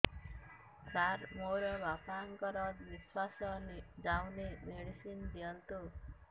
ସାର ମୋର ବାପା ଙ୍କର ନିଃଶ୍ବାସ ଯାଉନି ମେଡିସିନ ଦିଅନ୍ତୁ